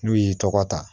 N'u y'i tɔgɔ ta